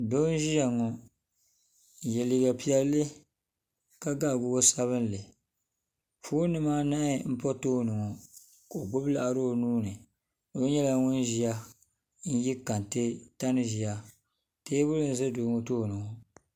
doo n-ʒiya ŋɔ n-ye liiga piɛlli ka ga wɔchi sabinli foon nima anahi m-pa tooni ŋɔ ka o gbubi laɣiri o nuu ni nyɛla ŋun ʒiya n-ye kente tani ʒiya teebuli n-ʒe doo ŋɔ tooni ŋɔ.